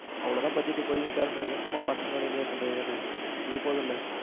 அவ்வளவுதான் budget இப்போதைக்கு plan பண்ணியிருக்கோம். சும்மா பசங்களோட enjoy பண்றது தானே இது போதுமில்ல.